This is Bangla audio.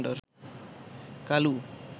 কালু